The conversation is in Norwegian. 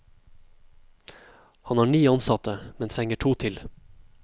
Han har ni ansatte, men trenger to til.